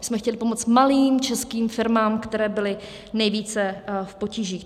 My jsme chtěli pomoct malým českým firmám, které byly nejvíce v potížích.